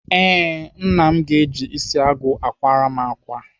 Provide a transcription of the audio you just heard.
Ee, Nna m ga-eji isi agụ akwara m ákwà